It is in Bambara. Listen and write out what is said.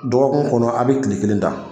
Dɔgɔkun kɔnɔ a be kile kelen ta